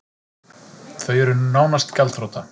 Þau eru nánast gjaldþrota